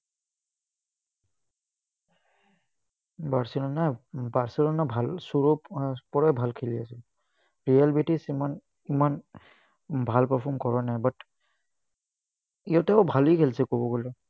barcelona barcelona ভাল পৰাই ভাল খেলি আছে। real british ইমান ইমান ভাল perform কৰা নাই, but ইহঁতেও ভালেই খেলিছে, ক'ব গ'লে।